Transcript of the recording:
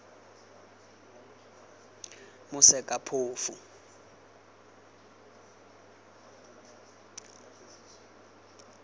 mosekaphofu